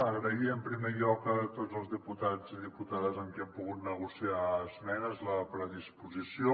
agrair en primer lloc a tots els diputats i diputades amb què hem pogut negociar esmenes la predisposició